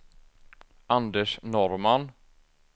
Anders Norrman